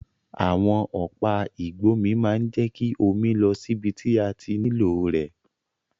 Àwon ọ̀pá ìgbómi ma n je ki omi lọ síbi ti a ti nílò rẹ̀